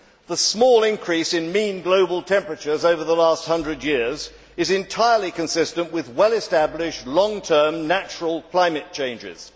The small increase in mean global temperatures over the last hundred years is entirely consistent with well established, long term, natural climate changes.